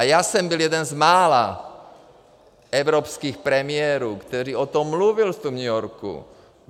A já jsem byl jeden z mála evropských premiérů, který o tom mluvil v tom New Yorku.